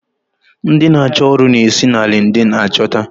Ndi n'acho ọrụ n'esi na lindin achota